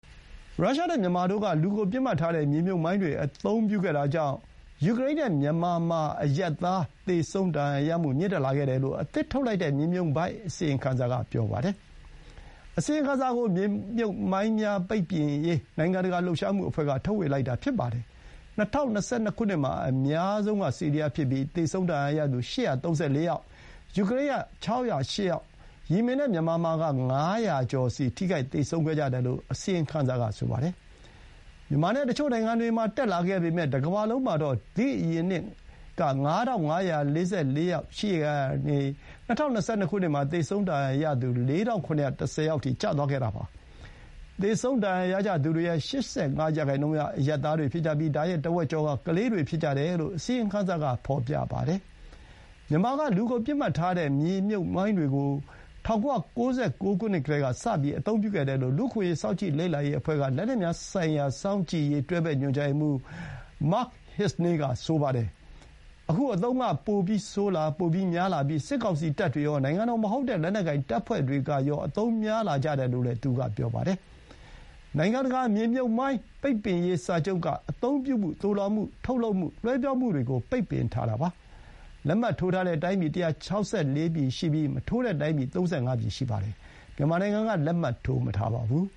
ရုရှားနဲ့ မြန်မာမှာ လူကိုပစ်မှတ်ထားတဲ့ မြေမြှုပ်မိုင်းတွေအသုံးပြုခဲ့တာကြောင့် ယူကရိန်းနဲ့ မြန်မာမှာ အရပ်သား သေဆုံး၊ ဒဏ်ရာရမှု မြင့်တက်လာခဲ့တယ်လို့ အသစ်ထုတ်လိုက်တဲ့ မြေမြှုပ်မိုင်း အစီရင်ခံစာက ပြောပါတယ်။ ဒီ အစီရင်ခံစာကို မြေမြှုပ်မိုင်းများပိတ်ပင်ရေး နိုင်ငံတကာ လှုပ်ရှားမှုအဖွဲ့က ထုတ်ဝေလိုက်တာ ဖြစ်ပါတယ်။ ၂၀၂၂ ခုနှစ်မှာ အများဆုံးက ဆီးရီးယားဖြစ်ပြီး သေဆုံးဒဏ်ရာရသူ ၈၃၄ ယောက်၊ ယူကရိန်းက ၆၀၈ ယောက်၊ ယီမင်နဲ့မြန်မာမှာက ၅၀၀ ကျော်စီ ထိခိုက်သေဆုံးခဲ့ကြတယ်လို့ အစီရင်ခံစာက ဆိုပါတယ်။မြန်မာနဲ့တချို့ နိုင်ငံတွေမှာ တက်လာခဲ့ပေမဲ့ တကမ္ဘာလုံးမှာတော့ ဒီ့အရင်နှစ် ၅,၅၄၄ ကနေ ၂၀၂၂ မှာ သေဆုံးဒဏ်ရာရသူ ၄,၇၁၀ ယောက်အထိ ကျသွားခဲ့တာပါ။ သေဆုံးဒဏ်ရာရကြသူတွေရဲ့ ၈၅ ရာနှုန်းက အရပ်သားတွေဖြစ်ကြပြီး ဒါ ရဲ့ တဝက်ကျော်က ကလေးတွေ ဖြစ်ကြတယ်လို့ အစီရင်ခံစာက ဖော်ပြပါတယ်။ မြန်မာက လူကိုပစ်မှတ်ထားတဲ့ မြေမြှုပ်မိုင်းတွေကို ၁၉၉၉ ခုနှစ်ကတည်းက စအသုံးပြုခဲ့တယ်လို့ လူ့အခွင့်အရေး စောင့်ကြည့်လေ့လာရေးအဖွဲ့က လက်နက်များဆိုင်ရာ စောင့်ကြည့်ရေး တွဲဘက် ညွှန်ကြားရေးမှူး မတ်ခ် ဟင်းဇနေးက (Mark Hiznay) ဆိုပါတယ်။ အခု အသုံးပြုနေတာတွေက ပိုဆိုး ပိုများလာပြီး စစ်ကောင်စီတပ်တွေရော၊ နိုင်ငံတော်မဟုတ်တဲ့ လက်နက်ကိုင်တပ်ဖွဲ့တွေရော အသုံးများလာကြတယ်လို့လည်း သူက ပြောပါတယ်။ နိုင်ငံတကာ မြေမြှုပ်မိုင်း ပိတ်ပင်ရေးစာချုပ်က အသုံးပြုမှု၊ သိုလှောင်မှု၊ ထုတ်လှုပ်မှု၊ လွှဲပြောင်းမှုတွေကို ပိတ်ပင်ထားတာပါ။ လက်မှတ်ထိုးထားတဲ့ တိုင်းပြည် ၁၆၄ ပြည်ရှိပြီး မထိုးတဲ့တိုင်းပြည် ၃၅ ပြည်ရှိပါတယ်။ မြန်မာနိုင်ငံက လက်မှတ် ထိုးမထားပါဘူး